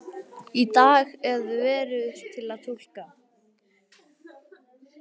Í dag er veður til að túlka